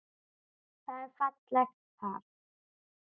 Það var fallegt par.